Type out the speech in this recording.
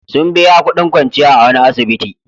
Sun biya kudin kwanciya a wani asibiti.